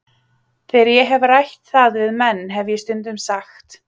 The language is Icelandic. Þegar ég hef rætt það við menn hef ég stundum sagt